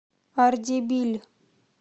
ардебиль